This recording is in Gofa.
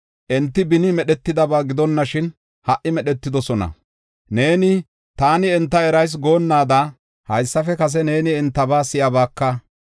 Enti beni medhetidaba gidonashin ha77i medhetidosona. Neeni, ‘Taani enta erayis’ goonnaada haysafe kase neeni entaba si7abaka.